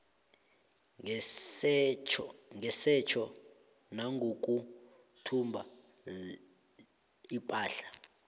ngesetjho nangokuthumba ipahla